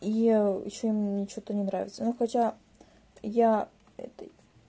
и ещё мне что-то не нравится ну хотя я этой